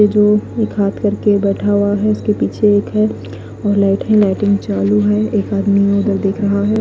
ये जो एक हाथ करके बेठा हुआ है इसके पीछे एक है लाइट है लाइट चालू है और एक आदमी उदर देख रहा है।